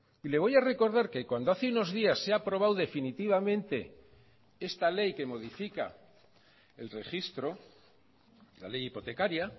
y le voy a recordar que cuando hace unos días se ha aprobado definitivamente esta ley que modifica el registro la ley hipotecaria